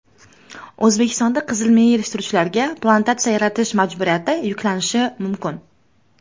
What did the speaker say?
O‘zbekistonda qizilmiya yetishtiruvchilarga plantatsiya yaratish majburiyati yuklanishi mumkin.